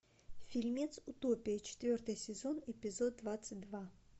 фильмец утопия четвертый сезон эпизод двадцать два